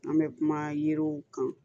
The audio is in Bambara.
An bɛ kuma yiriw kan